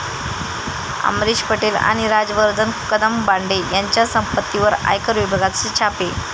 अमरीश पटेल आणि राजवर्धन कदमबांडे यांच्या संपत्तीवर आयकर विभागाचे छापे